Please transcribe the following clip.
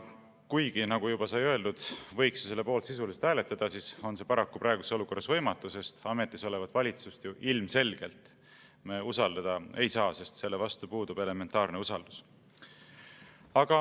Kuigi, nagu juba sai öeldud, selle poolt võiks ju sisuliselt hääletada, aga see on praeguses olukorras paraku võimatu, sest ametis olevat valitsust me usaldada ilmselgelt ei saa, valitsuse vastu puudub meil elementaarne usaldus.